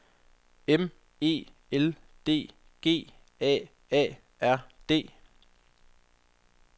M E L D G A A R D